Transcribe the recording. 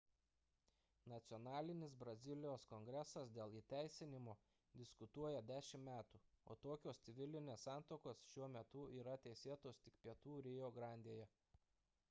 nacionalinis brazilijos kongresas dėl įteisinimo diskutuoja 10 metų o tokios civilinės santuokos šiuo metu yra teisėtos tik pietų rio grandėje